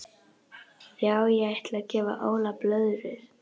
Já ég ætla að gefa Óla blöðrur.